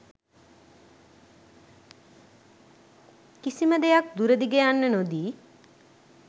කිසිම දෙයක් දුර දිග යන්න නොදී